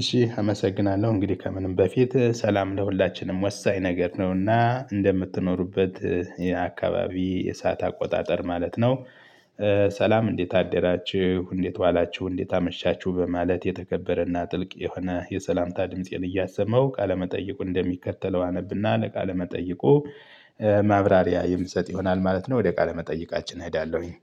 እሺ አመሰግናለሁ እንግዲህ ከምንም በፊት ሰላም ለሁላችንም ወሳኝ ነገር ነውና እንደምትኖሩበት የአካባቢ የሰዓት አቆጣጠር ማለት ነው ሰላም እንዴት አደራችሁ፣ እንዴት ዋላችሁ፣ እንዴት አመሻችሁ በማለት የተከበረና ጥልቅ የሆነ የሰላምታ ድምፄን እያሰማሁ ቃለመጠየቁ እንደሚከተለው አነብና ለቃለ መጠይቁ ማብራሪያ የምሰጥ ይሆናል ማለት ነው። ወደ ቃለ መጠይቃችን እሄዳለሁኝ።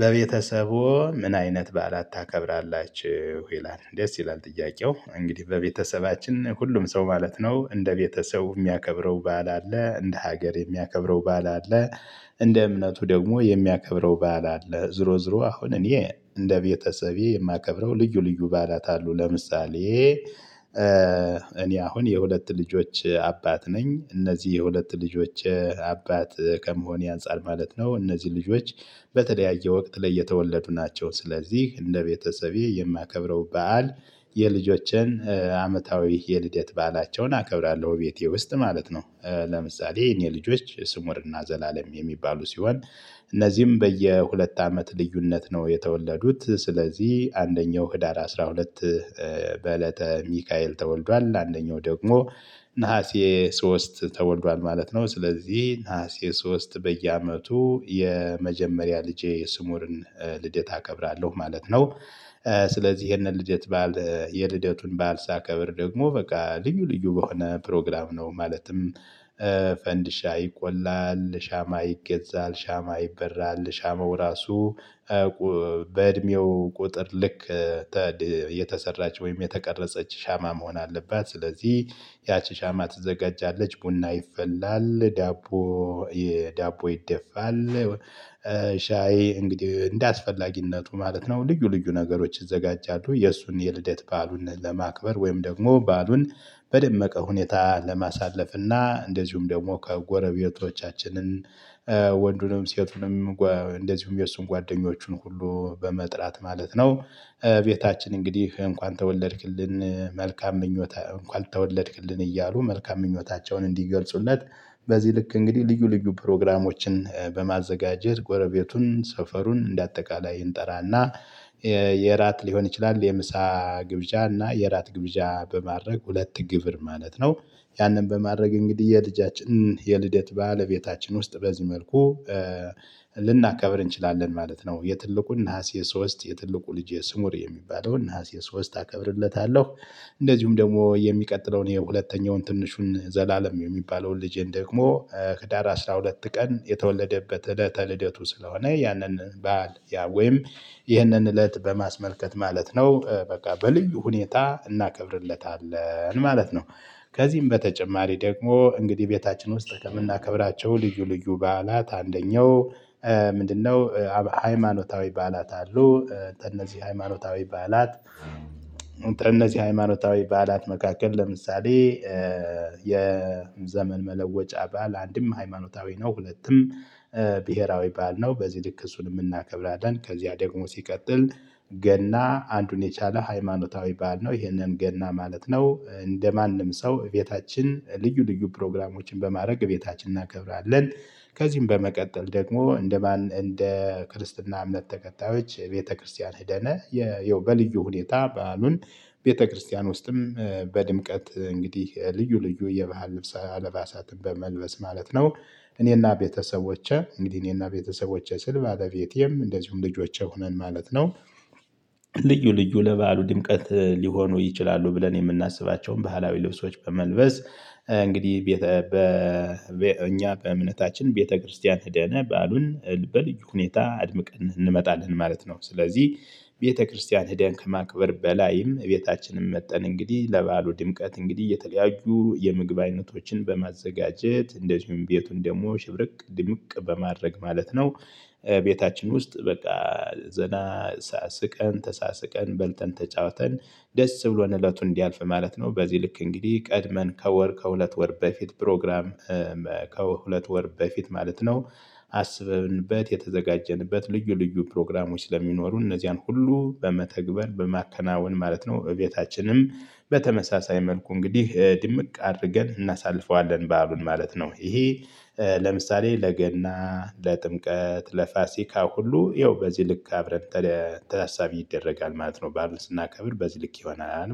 በቤተሰቦዎ ምን አይነት በዓላት ታከብራላችሁ? ይላል ደስ ይላል ጥያቄው እንግዲህ በቤተሰባችን ሁሉም ሰው ማለት ነው እንደ ቤተሰቡ የሚያከብረው ባዓል አለ፣ እንደ ሀገር የሚያከብረው ባዓል አለ እንደ እምነቱ ደግሞ የሚያከብረው በዓል አለ። ዙሮ ዙሮ አሁን እኔ እንደ ቤተሰቤ የማከብረው ልዩ ልዩ ባዓላት አሉ ለምሳሌ እኔ አሁን የሁለት ልጆች አባት ነኝ። እነዚህ የሁለት ልጆቼ አባት ከመሆኔ አንፃር ማለት ነው እነዚህ ልጆች በተለያየ ወቅት ላይ የተወለዱ ናቸው። ስለዚህ እንደ ቤተሰቤ የማከብረው በዓል የልጄቼን አመታዊ የልደት በዓላቸውን አከብራለሁ እቤቴ ውስጥ ማለት ነው ለምሳሌ የኔ ልጆች ስሙርና ዘላለም የሚባሉ ሲሆን እነዚህም በየሁለት አመት ልዩነት ነው የተወለዱት። ስለዚህ አንደኛው ህዳር አስራ ሁለት በእለተ ሚካኤል ተወልዷል። አንደኛው ደግሞ ነሀሴ ሶስት ተወልዷል ማለት ነው። ስለዚህ ነሀሴ ሶስት በየአመቱ የመጀመሪያ ልጄ የስሙርን ልደት አከብራለሁ ማለት ነው። ስለዚህ ይሄን የልደት ባዓል የልደቱን በዓል ሳከብር ደግሞ በቃ ልዩ ልዩ በሆነ ፕሮግራም ነው ማለትም ፈንድሻ ይቆላል፣ ሻማ ይገዛል፣ ሻማ ይበራል፣ ሻማው እራሱ በእድሜው ቁጥር ልክ የተሰራች ወይም የተቀረጸች ሻማ መሆን አለባት ስለዚህ ያቺ ሻማ ትዘጋጃለች፣ ቡና ይፈላል፣ ዳቦ ዳቦ ይደፋል ሻይ እንግዲህ እንደአስፈላጊነቱ ማለት ነው ልዩ ልዩ ነገሮች ይዘጋጃሉ የእሱን የልደት በዓሉን ለማክበር ወይም ደግሞ ባዓሉን በደመቀ ሁኔታ ለማሳለፍ እና እንደዚሁም ደግሞ ከጎረቤቶቻችንን ወንዱንም ሴቱንም እንደዚሁም የእሱን ጓደኞቹን ሁሉ በመጥራት ማለት ነው ቤታችን እንግዲህ እንኳን ተወለድክልን መልካም ምኞት እንኳን ተወለድክልን እያሉ መልካም ምኞታቸውን እንዲገልጹለት በዚህ ልክ እንግዲህ ልዩ ልዩ ፕሮግራሞችን በማዘጋጀት ጎረቤቱን ሰፈሩን እንደ አጠቃላይ እንጠራና የእራት ሊሆን ይችላል የምሳ ግብዣ እና የእራት ግብዣ በማድረግ ሁለት ግብር ማለት ነው ያንን በማድረግ እንግዲህ የልጃችን የልደት በዓል እቤታችን ውስጥ በዚህ መልኩ ልናከብር እንችላለን ማለት ነው። የትልቁን ነሀሴ ሶስት የትልቁ ልጄ ስሙር የሚባለውን እና የሶስት አከብርለታለሁ እንደዚሁም ደግሞ የሚቀጥለውን የሁለተኛውን ትንሹን ዘላለም የሚባለውን ልጄን ደግሞ ህዳር አስራ ሁለት ቀን የተወለደበት እለተ ልደቱ ስለሆነ ያንን በዓል ወይም ይህንን እለት በማስመልከት ማለት ነው በቃ በልዩ ሁኔታ እናከብርለታለን ማለት ነው ከዚህም በተጨማሪ ደግሞ እንግዲህ ቤታችን ውስጥ ከምናከብራቸው ልዩ ልዩ በዓላት አንደኛው ምንድነው ሃይማኖታዊ በዓላት አሉ ከነዚህ ሃይማኖታዊ በዓላት ከነዚህ ሃይማኖታዊ በዓላት መካከል ለምሳሌ የዘመን መለወጫ በዓል አንድም ሃይማኖታዊ ነው ሁለትም ብሄራዊ ባል ነው። በዚህ ልክ እሱንም እናከብራለን። ከዚያ ደግሞ ሲቀጥል ገና አንዱን የቻለ ሃይማኖታዊ በዓል ነው። ይሄንን ገና ማለት ነው እንደማንም ሰው እቤታችን ልዩ ልዩ ፕሮግራሞችን በማድረግ እቤታችን እናከብራለን። ከዚህም በመቀጠል ደግሞ እንደ እንደ ክርስትና እምነት ተከታዮች ቤተክርስቲያን ሄደን ያው በልዩ ሁኔታ በዓሉን ቤተክርስቲያን ውስጥም በድምቀት እንግዲህ ልዩ ልዩ የባህል ልብስ አልባሳት በመልበስ ማለት ነው እኔና ቤተሰቦቼ እንግዲህ እኔና ቤተሰቦቼ ስል ባለቤቴም እንደዚሁም ልጆቼ ሆነን ማለት ነው ልዩ ልዩ ለበዓሉ ድምቀት ሊሆኑ ይችላሉ ብለን የምናስባቸውን ባህላዊ ልብሶች በመልበስ እንግዲህ ቤተ እኛ በእምነታችን ቤተክርስቲያን ሄደን በዓሉን በልዩ ሁኔታ አድምቀን እንመጣለን ማለት ነው። ስለዚህ ቤተክርስቲያን ሄድን ከማክበር በላይም እቤታችንም መጥተን እንግዲህ ለበዓሉ ድምቀት እንግዲህ የተለያዩ የምግብ አይነቶችን በማዘጋጀት እንደዚሁም ቤቱን ደግሞ ሽብርቅ ድምቅ በማድረግ ማለት ነው ቤታችን ውስጥ በቃ ዘና ስቀን፣ ተሳስቀን፣ በልተን፣ ተጫውተን፣ ደስ ብሎን እለቱን እንዲያልፍ ማለት ነው በዚህ ልክ እንግዲህ ቀድመን ከወር ከሁለት ወር በፊት ፕሮግራም ከሁለት ወር በፊት ማለት ነው አስበንበት የተዘጋጀንበት ልዩ ልዩ ፕሮግራሞች ስለሚኖሩ እነዚያን ሁሉ በመተግበር በማከናወን ማለት ነው እቤታችንም በተመሳሳይ መልኩ እንግዲህ ድምቅ አድርገን እናሳልፈዋለን በዓሉን ማለት ነው። ይሄ ለምሳሌ ለገና፣ ለጥምቀት፣ ለፋሲካ ሁሉ ይኸው በዚህ ልክ አብረን ታሳቢ ይደረጋል ማለት ነው። በዓሉን ስናከብር በዚህ ልክ ይሆናል